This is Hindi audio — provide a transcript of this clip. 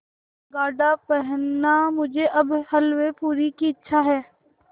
गाढ़ा पहनना मुझे अब हल्वेपूरी की इच्छा है